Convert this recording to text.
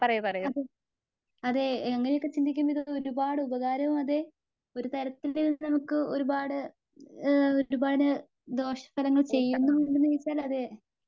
അതെ അതെ അങ്ങനെയൊക്കെ ചിന്തിക്കുന്നതു ഒരുപാടു ഉപകാരവും അതെ ഒരു തരത്തിൽ നമുക്ക് ഒരുപാട് ഏ ദോഷഫലങ്ങൾ ചെയ്‌യുന്നുണ്ടോന്ന് ചോദിച്ചാല് അതേ